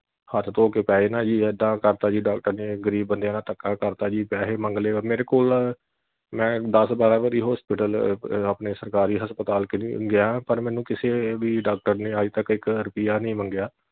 ਹੱਥ ਧੋ ਕੇ ਪੈ ਜਾਣਾ ਜੀ ਇੱਦਾਂ ਕਰਤਾ ਜੀ doctor ਨੇ ਗਰੀਬ ਬੰਦਿਆਂ ਨਾਲ ਧੱਕਾ ਕਰਤਾ ਜੀ ਪੈਹੇ ਮੰਗਲੇ ਮੇਰੇ ਕੋਲ ਮੈਂ ਦਸ ਬਾਰਾਂ ਵਾਰੀ hospital ਆਪਣੇ ਸਰਕਾਰੀ ਹਸਪਤਾਲ ਗਿਆ ਪਰ ਮੈਨੂੰ ਕਿਸੇ ਵੀ doctor ਨੇ ਅੱਜ ਤੱਕ ਇਕ ਰੁਪਿਆ ਨਹੀਂ ਮੰਗਿਆ।